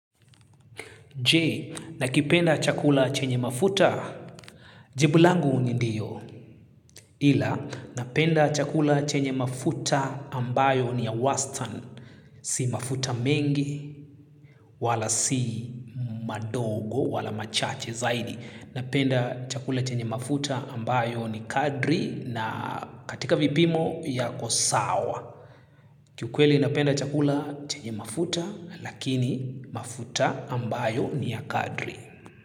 Je, nakipenda chakula chenye mafuta, jibu langu ni ndiyo. Ila, napenda chakula chenye mafuta ambayo ni ya wastani. Si mafuta mengi, wala si madogo, wala machache zaidi. Napenda chakula chenye mafuta ambayo ni kadri na katika vipimo yako sawa. Kikweli napenda chakula chenye mafuta, lakini mafuta ambayo ni ya kadri.